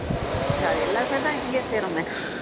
அத எல்லாத்தையும் தான் இங்கையே செய்யறோமே